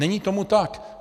Není tomu tak.